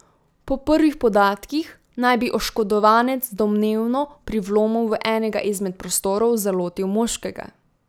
Po prvih podatkih naj bi oškodovanec domnevno pri vlomu v enega izmed prostorov zalotil moškega.